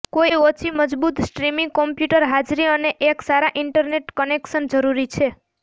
કોઈ ઓછી મજબૂત સ્ટ્રીમિંગ કોમ્પ્યુટર હાજરી અને એક સારા ઇન્ટરનેટ કનેક્શન જરૂરી છે